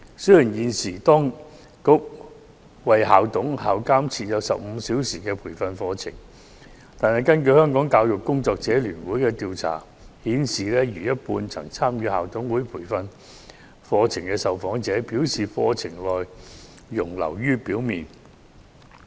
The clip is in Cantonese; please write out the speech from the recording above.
雖然現時當局為校董和校監提供15小時培訓課程，但香港教育工作者聯會的調查顯示，逾半曾參與校董培訓課程的受訪者認為，課程內容流於表面。